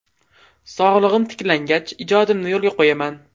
Sog‘lig‘im tiklangach, ijodimni yo‘lga qo‘yaman.